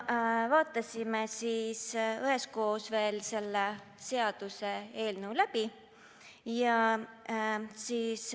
Vaatasime üheskoos veel selle seaduseelnõu läbi.